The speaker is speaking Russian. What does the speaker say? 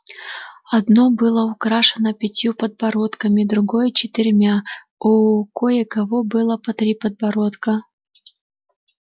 одно было украшено пятью подбородками другое четырьмя у кое-кого было по три подбородка